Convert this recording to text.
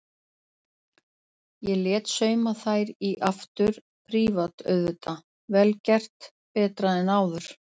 Ég lét sauma þær í aftur, prívat auðvitað, vel gert, betra en áður.